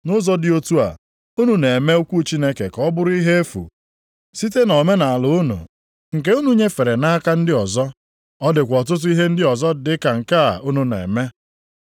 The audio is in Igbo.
Nʼụzọ dị otu a, unu na-eme okwu Chineke ka ọ bụrụ ihe efu, site nʼomenaala unu nke unu nyefere nʼaka ndị ọzọ. Ọ dịkwa ọtụtụ ihe ndị ọzọ dị ka nke a unu na-eme.”